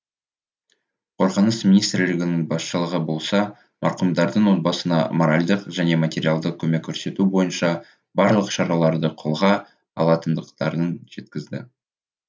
қорғаныс министрлігінің басшылығы болса марқұмдардың отбасына моральдық және материалдық көмек көрсету бойынша барлық шараларды қолға алатындықтарын жеткізді